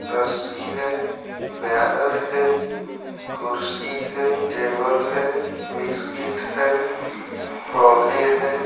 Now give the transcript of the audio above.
रस्सी है बैनर है कुर्सी है टेबल है बिस्किट है पौधे है।